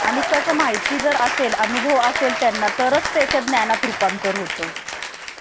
आणि कसं माहिती जर असेल अनुभव असेल त्यांना तरच त्याच्या ज्ञानात रूपांतर होतं